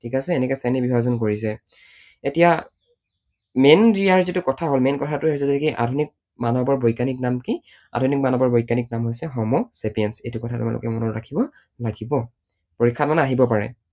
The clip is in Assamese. ঠিক আছে? এনেকৈ শ্ৰেণী বিভাজন কৰিছে। এতিয়া main ইয়াৰ যিটো কথা হল main কথাটোৱেই হৈছে যে কি আধুনিক মানৱৰ বৈজ্ঞানিক নাম কি, আধুনিক মানৱৰ বৈজ্ঞানিক নাম হৈছে homo sapiens এইটো কথা তোমালোকে মনত ৰাখিব লাগিব। পৰীক্ষাত মানে আহিব পাৰে, ঠিক আছে?